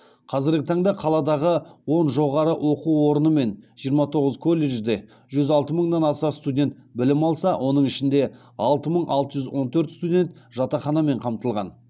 қазіргі таңда қаладағы он жоғары оқу орыны мен жиырма тоғыз колледжде жүз алты мыңнан аса студент білім алса оның ішінде алты мың алты жүз он төрт студент жатақханамен қамтылған